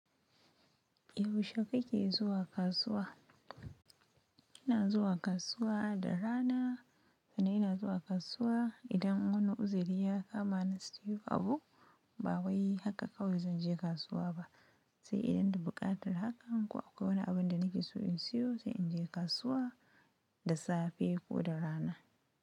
Yaushe ka ke zuwa kasuwa? Ina zuwa kasuwa da rana sannan ina zuwa kasuwa idan wani uziri ya kama ni ba siyan abu. Ba wai haka kawai zan je kasuwa ba, sai idan da buƙatar hakan ko akwai wani abin da nake so in siyo sai in je kasuwa da safe ko da rana.